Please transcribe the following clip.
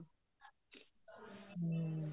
ਹਮ